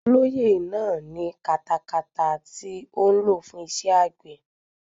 Olóyè náà ní katakata tí ó ń lò fún iṣẹ́ àgbẹ̀.